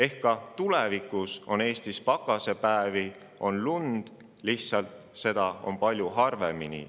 Ehk siis on ka Eestis tulevikus pakasepäevi ja lund, lihtsalt neid on palju harvemini.